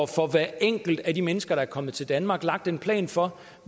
for hver enkelt af de mennesker der er kommet til danmark får lagt en plan for